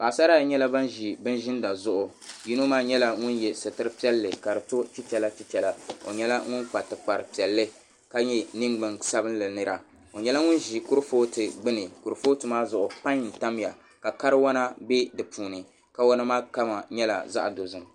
Paɣisara ayi nyɛla ban zi bini ziinda zuɣu yino maa nyɛla ŋuni yɛ sitira piɛlli ka di to chichɛra chichɛra o nyɛla ŋun kpa tikpara piɛlli ka nyɛ ningbuŋ sabinli nira o nyɛla ŋun zi kurifootu gbuni kurifootu maa zuɣu painy n tam ya ka kariwana bɛ di puuni kawana maa kama nyɛla zaɣi dozim